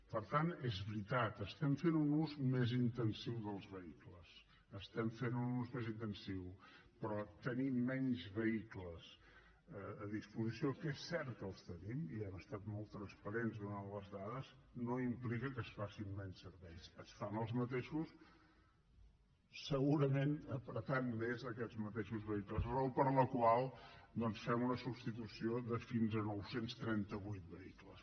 per tant és veritat estem fent un ús més intensiu dels vehicles n’estem fent un ús més intensiu però tenir menys vehicles a disposició que és cert que els tenim i hem estat molt transparents donant les dades no implica que es facin menys serveis es fan els mateixos segurament apretant més aquests mateixos vehicles raó per la qual fem una substitució de fins a nou cents i trenta vuit vehicles